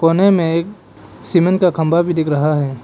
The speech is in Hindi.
कोने में सीमेंट का खंबा भी दिख रहा है।